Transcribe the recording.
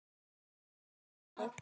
Það er ritað þannig